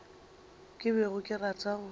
ke bego ke rata go